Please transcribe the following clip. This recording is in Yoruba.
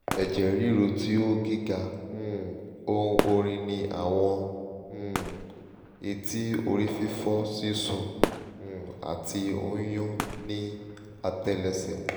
eje riru ti o giga um ohun orin ni awọn um etí orififo sisun um ati nyún ni atẹlẹsẹ